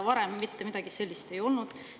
Varem mitte midagi sellist ei olnud.